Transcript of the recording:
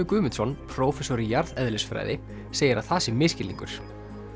Guðmundsson prófessor í jarðeðlisfræði segir að það sé misskilningur